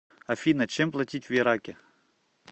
афина чем платить в ираке